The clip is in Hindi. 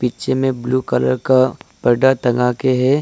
पीछे में ब्ल्यू कलर का पर्दा टंगा के है।